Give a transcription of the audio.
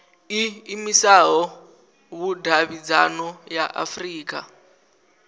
iimisaho ya vhudavhidzano ya afurika